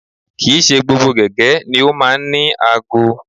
Kì í ṣe gbogbo gẹ̀gẹ́ ni ó máa ń ní aago